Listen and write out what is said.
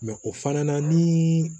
o fana na ni